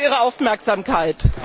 Ich danke für Ihre Aufmerksamkeit.